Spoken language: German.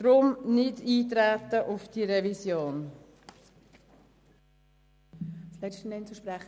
Darum ist auf diese Revision nicht einzutreten.